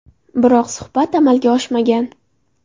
Biroq suhbat amalga oshmagan.